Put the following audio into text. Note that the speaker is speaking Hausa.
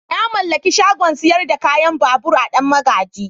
Na mallaki shagon sayar da kayan babur a danmagaji.